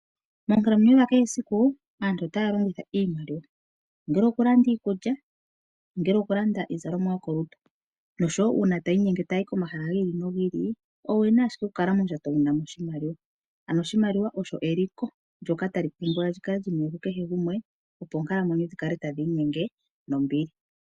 Moonkalamwenyo dha kehe esiku aantu otaya longitha iimaliwa ongele okulanda iikulya, ongele okulanda iikutu yokolutu . Noshowo uuna taya inyenge tayayi komahala gi ili nogi ili owuna ashike okulongitha oshimaliwa . Oshimaliwa osho eliko tali pumbiwa likale liniwe ku kehe gumwe opo oonkalamwenyo dhikale tadhi inyenge nawa.